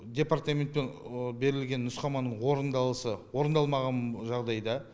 департаментпен берілген нұсқама орындалмаған жағдайда